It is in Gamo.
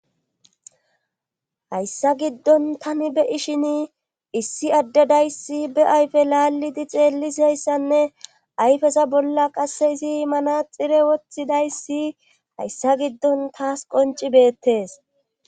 Hayssa giddon tani beyi shin issi addedayssi be ayfe laallidi xeellizayssanne ayfeza bolla qasse izi imanaxire woththidayssi hayssa giddon taas qonci beettes.